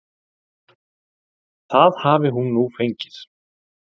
Það hafi hún nú fengið.